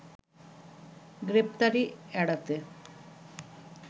গ্রেপ্তারি এড়াতে